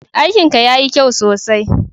Aikin ka ya yi kyau sosai.